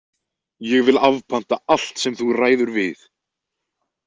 Ég vil afpanta allt sem þú ræður við!